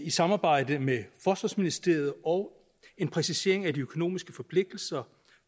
i samarbejde med forsvarsministeriet og en præcisering af de økonomiske forpligtelser